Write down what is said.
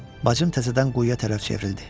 Bacım təzədən quyuya tərəf çevrildi.